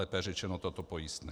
Lépe řečeno toto pojistné.